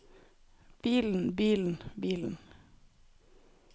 bilen bilen bilen